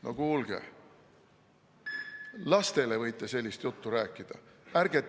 No kuulge, lastele võite sellist juttu rääkida!